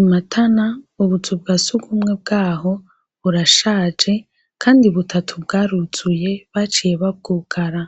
Imatana, ubuzu bwasugumwe bwaho burashaje kandi butatu bwaruzuye baciye babwugara